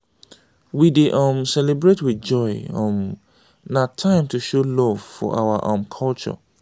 we dey um celebrate with joy; um na time to show love for our um culture.